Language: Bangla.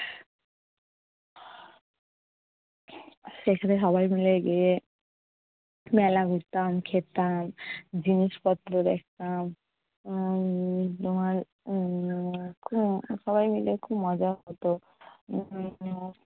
সেখানে সবাই মিলে গিয়ে মেলা ঘুরতাম, খেতাম, জিনিসপত্র দেখতাম উম তোমার উম সবাই মিলে খুব মজা হতো। উম